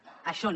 això no